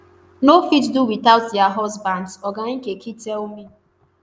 no fit do witout dia husbands oga nkeki tell me